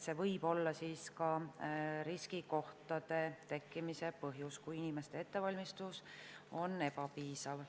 See võib olla ka riskikohtade tekkimise põhjus, kui inimeste ettevalmistus on ebapiisav.